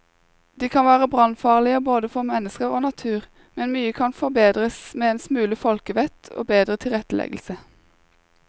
De kan være brannfarlige både for mennesker og natur, men mye kan forbedres med en smule folkevett og bedre tilretteleggelse.